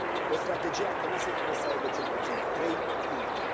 O strategie a Comisiei trebuie să aibă cel puțin trei puncte.